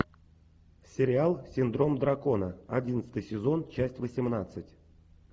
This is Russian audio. сериал синдром дракона одиннадцатый сезон часть восемнадцать